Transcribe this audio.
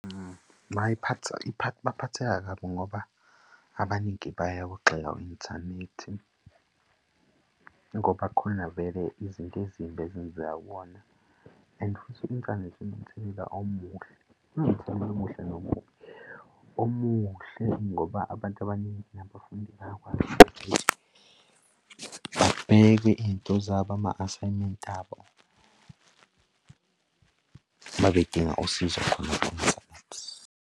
Baphatheka kabi ngoba abaningi bayawugxeka u-inthanethi, ngoba kukhona vele izinto ezimbi ezenzeka kuwona. And futhi i-inthanethi inomthelela omuhle, inomthelela omuhle nomubi. Omuhle, ngoba abantu abaningi nabafundi bakwazi ukuthi babheke iy'nto zabo ama-asayimenti abo uma bedinga usizo khona ku-inthanethi.